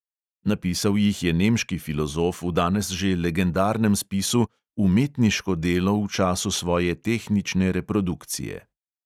Napisal jih je nemški filozof v danes že legendarnem spisu umetniško delo v času svoje tehnične reprodukcije.